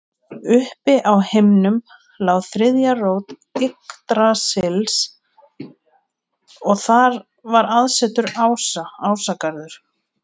Uppi á himnum lá þriðja rót Yggdrasils og þar var aðsetur ása, Ásgarður.